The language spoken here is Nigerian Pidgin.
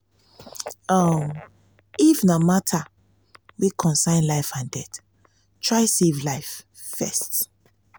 um if na if na mata wey concern life and death try save life um first